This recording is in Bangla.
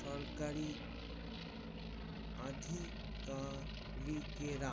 সরকারি অধিকাভিকেরা